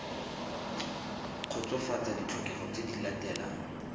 kgotsofatsa ditlhokego tse di latelang